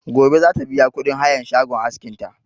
Gobe za ta biya kuɗin hayan shagon askin ta